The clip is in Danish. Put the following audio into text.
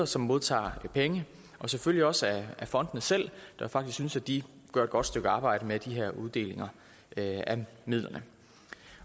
som modtager penge og selvfølgelig også af fondene selv der faktisk synes at de gør et godt stykke arbejde med de her uddelinger af midlerne